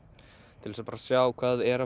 til þess að sjá hvað er að